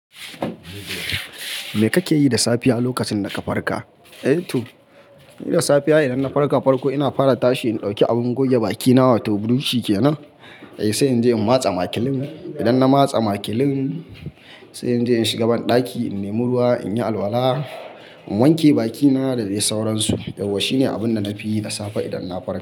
Me kake yi da safiya lokacin da ka farka? Eh to, ni da safiya idan na farka farko ina fara tashi in ɗauki abin goge bakina wato brush shi kenan. Sai in je in matse makilin. Idan na matse makilin sai in je in shiga banɗaki in nemi ruwa in yi alwala, in wanke bakina da dai sauransu. Yauwa shine abun da na fi yi da safe idan na farka.